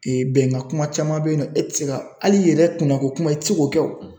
bɛnkan kuma caman bɛ yen nɔ e tɛ se ka hali i yɛrɛ kunkanko kuma i tɛ se k'o kɛ o.